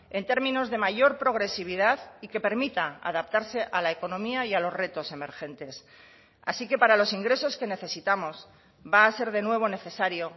en términos de mayor progresividad y que permita adaptarse a la economía y a los retos emergentes así que para los ingresos que necesitamos va a ser de nuevo necesario